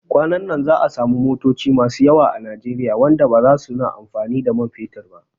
Kwanan nan za'a samu motoci masu yawa a Nijeriya wanda baza suna amfani da man fetur ba